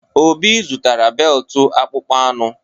Obi zụtara beltụ akpụkpọ anụ.